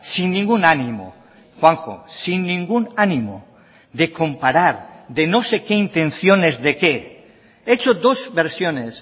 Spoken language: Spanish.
sin ningún ánimo juanjo sin ningún ánimo de comparar de no sé qué intenciones de qué he hecho dos versiones